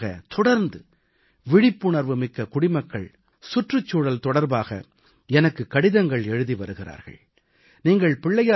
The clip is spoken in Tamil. கடந்த ஒரு மாதமாகத் தொடர்ந்து விழிப்புணர்வு மிக்க குடிமக்கள் சுற்றுச்சூழல் தொடர்பாக எனக்கு கடிதங்கள் எழுதி வருகிறார்கள்